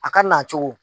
A ka na cogo